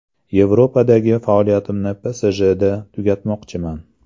Yevropadagi faoliyatimni PSJda tugatmoqchiman.